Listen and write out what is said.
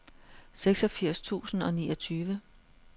treogfirs tusind og niogtyve